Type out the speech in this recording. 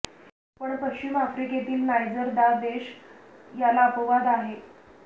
पण पश्चिम आफ्रिकेतील नायजर दा देश याला अपवाद आहे